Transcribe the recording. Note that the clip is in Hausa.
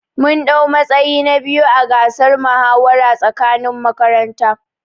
Mun dau matsayi na biyu ã gasar muhawara tsakanin makaranta.